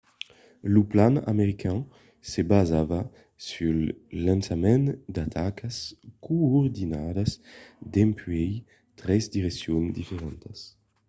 lo plan american se basava sul lançament d'atacas coordinadas dempuèi tres direccions diferentas